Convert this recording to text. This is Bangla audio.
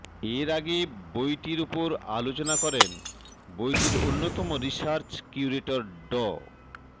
এর আগে বইটির ওপর আলোচনা করেন বইটির অন্যতম রিসার্চ কিউরেটর ড